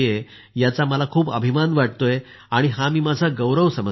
याचा मला अभिमान वाटतो आणि हा मी माझा गौरव समजते